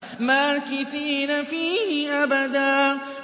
مَّاكِثِينَ فِيهِ أَبَدًا